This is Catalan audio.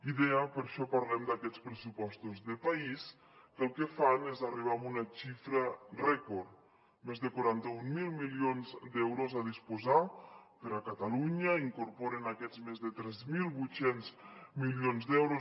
i deia per això parlem d’aquests pressupostos de país que el que fan és arribar a una xifra rècord més de quaranta mil milions d’euros a disposar per a catalunya i incorporen aquests més de tres mil vuit cents milions d’euros